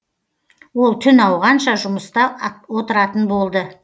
ол түн ауғанша жұмыста отыратын болды